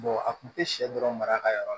a kun tɛ sɛ dɔrɔn mara ka yɔrɔ la